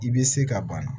I bɛ se ka bana